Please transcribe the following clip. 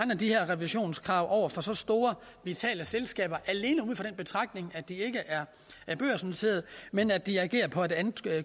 de her revisionskrav over for så store vitale selskaber alene ud fra den betragtning at de ikke er børsnoterede men at de agerer på et andet